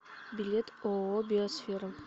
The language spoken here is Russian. билет ооо биосфера